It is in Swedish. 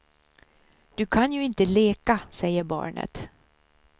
Du kan ju inte leka, säger barnet.